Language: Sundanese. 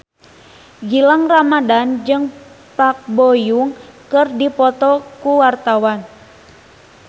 Gilang Ramadan jeung Park Bo Yung keur dipoto ku wartawan